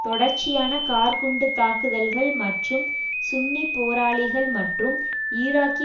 தொடர்ச்சியான கார்க்குண்டுத் தாக்குதல்கள் மற்றும் சுன்னி போராளிகள் மற்றும் ஈராக்கி